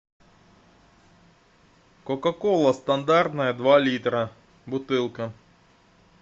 кока кола стандартная два литра бутылка